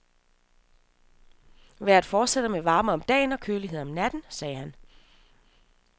Vejret fortsætter med varme om dagen og kølighed om natten, sagde han.